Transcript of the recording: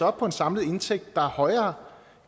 op på en samlet indtægt der er højere